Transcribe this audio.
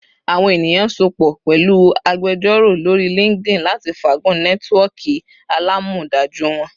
Awọn eniyan sopọ pẹlu agbejoro lori LinkedIn lati faagun nẹtiwọọki alamọdaju wọn